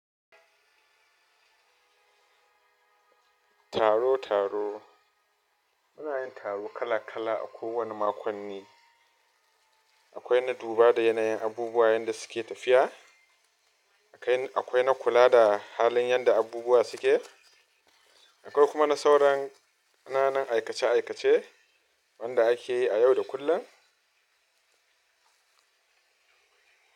Taro taro. Muna yin taro kala kala a ko wane makonni. Akwai na duba da yanayin abubuwa yanda suke tafiya. Akwai na kula da halin yanda abubuwa suke. Akwai kuma na sauran kananan aikace-aikace wanda ake yi a yau da kullum.